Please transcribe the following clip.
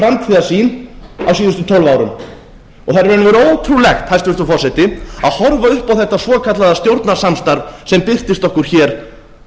og veru ótrúlegt hæstvirtur forseti að horfa upp á þetta svokallaða stjórnarsamstarf sem birtist okkur hér